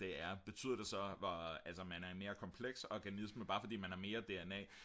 det er betyder det så hvor altså at man er en mere kompleks organisme bare fordi man har mere dna